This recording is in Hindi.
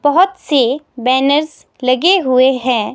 बहोत से बैनर्स लगे हुए हैं।